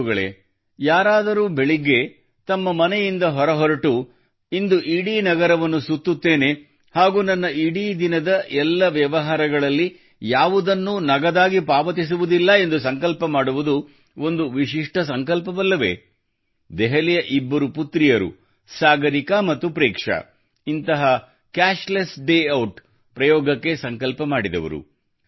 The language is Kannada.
ಬಂಧುಗಳೇ ಯಾರಾದರೂ ಬೆಳಗ್ಗೆ ತಮ್ಮ ಮನೆಯಿಂದ ಹೊರಬಿದ್ದು ಇಂದು ಇಡೀ ನಗರವನ್ನು ಸುತ್ತುವೆನು ಹಾಗೂ ನನ್ನ ಇಡೀ ದಿನದ ಎಲ್ಲ ವ್ಯವಹಾರಗಳಲ್ಲಿ ಯಾವುದೇ ನಗದು ವ್ಯವಹಾರ ಮಾಡುವುದಿಲ್ಲ ಎಂದು ಸಂಕಲ್ಪ ಮಾಡುವುದು ಒಂದು ವಿಶಿಷ್ಟ ಸಂಕಲ್ಪವಲ್ಲವೇ ದೆಹಲಿಯ ಇಬ್ಬರು ಪುತ್ರಿಯರು ಸಾಗರಿಕಾ ಮತ್ತು ಪ್ರೇಕ್ಷಾ ಇಂತಹ cashless day out cashless day out ನ ಪ್ರಯೋಗಕ್ಕೆ ಸಂಕಲ್ಪ ಮಾಡಿದವರು